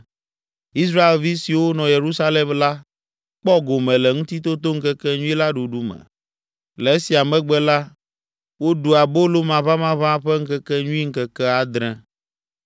Israelvi siwo nɔ Yerusalem la kpɔ gome le Ŋutitotoŋkekenyui la ɖuɖu me. Le esia megbe la, woɖu Abolo Maʋamaʋã ƒe Ŋkekenyui ŋkeke adre.